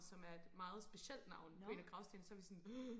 som er et meget specielt navn på en af gravstenene så var vi sådan oh